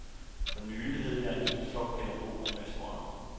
For nylig havde jeg en hel flok pædagoger i restauranten.